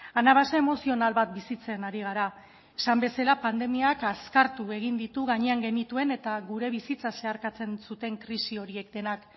anabasa emozional bat bizitzen ari gara esan bezala pandemiak azkartu egin ditu gainean genituen eta gure bizitza zeharkatzen zuten krisi horiek denak